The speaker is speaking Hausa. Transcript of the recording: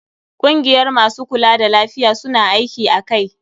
Kungiyar masu kula da lafiya, su na aiki a kai.